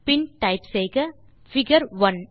பின் type செய்க figure 1